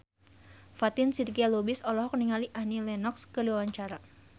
Fatin Shidqia Lubis olohok ningali Annie Lenox keur diwawancara